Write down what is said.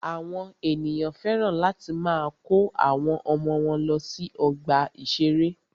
Àwọn ènìyàn féràn láti máa kó àwọn ọmọ wọ́n lọ sí ọgbà ìṣẹ̀rẹ́.